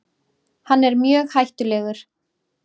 Hann er mjög hættulegur.